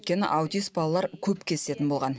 өйткені аутист балалар көп кездесетін болған